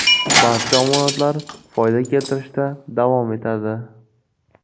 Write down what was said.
Barcha omonatlar foyda keltirishda davom etadi.